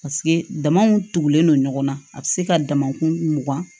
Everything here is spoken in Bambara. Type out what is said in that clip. Paseke damaw tugulen don ɲɔgɔn na a bɛ se ka damakun mugan